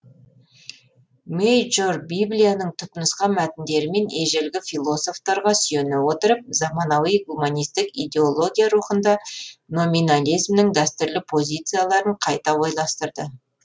мейджор библияның түпнұсқа мәтіндері мен ежелгі философтарға сүйене отырып заманауи гуманистік идеология рухында номинализмнің дәстүрлі позицияларын қайта ойластырды